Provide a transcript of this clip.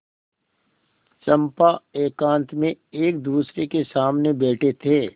चंपा एकांत में एकदूसरे के सामने बैठे थे